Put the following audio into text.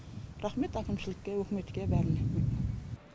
рахмет әкімшілікке өкіметке бәріне